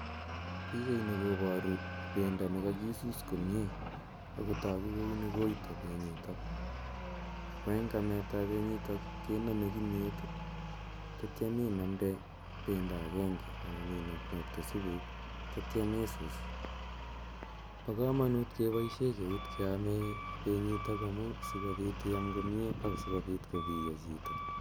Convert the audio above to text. Pichaini koparu ne kakisus komye. Ako tagu kole uni koita nitok . Ako eng' amet ap penyitok kename kimiet atiam inamde pendo agnege anan inokokte supuk atiam isus. Pa kamamut keamishe keut kame peyitok asikopit iam komye ak asikopit kopiya chito.